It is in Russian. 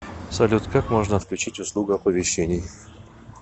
салют как можно отключить услугу оповещений